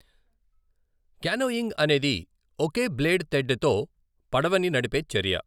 Canoeing అనేది ఒకే blade తెడ్డే తో పడవని నడిపే చర్య.